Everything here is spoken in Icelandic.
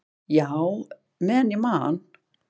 """Já, meðan ég man."""